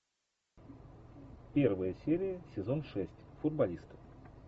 первая серия сезон шесть футболисты